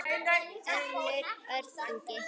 Hönnun: Örn Ingi.